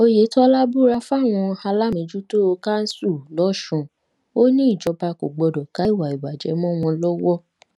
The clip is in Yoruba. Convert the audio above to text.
oyetola búra fáwọn aláàmejútó kanṣu lọsùn ò ní ìjọba kò gbọdọ ká ìwà ìbàjẹ mọ wọn lọwọ